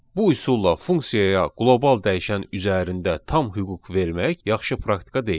Bu üsulla funksiyaya qlobal dəyişən üzərində tam hüquq vermək yaxşı praktika deyil.